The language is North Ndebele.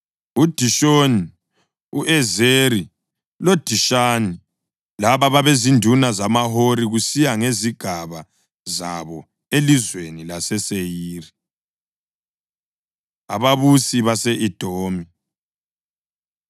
uDishoni, u-Ezeri loDishani. Laba babezinduna zamaHori kusiya ngezigaba zabo elizweni laseSeyiri. Ababusi Base-Edomi